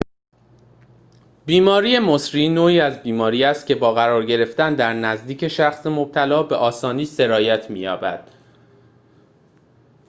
بیماری مسری نوعی از بیماری است که با قرار گرفتن در نزدیک شخص مبتلا به آسانی سرایت می‌یابد